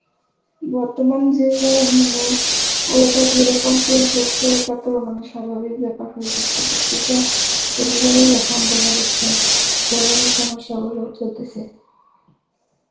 বর্তমান যে মানে, weather যেরকম change হচ্ছে এটাতেও মানে স্বাভাবিক ব্যাপার হয়ে যাচ্ছে প্রতিটা পরিবারেই এখন দেখা যাচ্ছে এই ধরনের সমস্যা গুলো চলতেসে